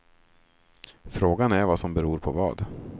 Frågan är vad som beror på vad.